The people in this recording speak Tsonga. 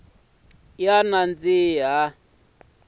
ya ha nandzihi